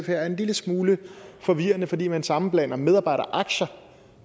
er en lille smule forvirrende fordi man sammenblander medarbejderaktier